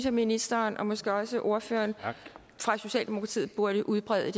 at ministeren og måske også ordføreren fra socialdemokratiet burde udbrede